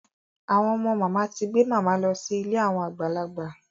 Àwọn ọmọ màmá ti gbé màmá lọ sí ilé àwọn àgbàlagbà.